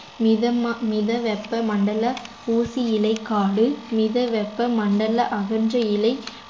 மித ம~ மித வெப்ப மண்டல ஊசி இலை காடு மித வெப்ப மண்டல அகன்ற இலை